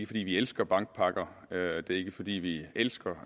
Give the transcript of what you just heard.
fordi vi elsker bankpakker det er ikke fordi vi elsker